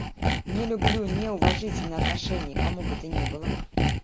не люблю неуважительное отношение к кому бы то ни было